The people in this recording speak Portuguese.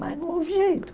Mas não houve jeito.